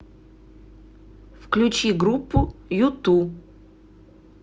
включи группу юту